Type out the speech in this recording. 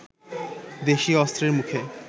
দেশীয় অস্ত্রের মুখে